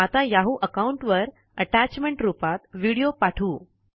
आता Yahoo account वर attachment रुपात व्हिडीओ पाठवू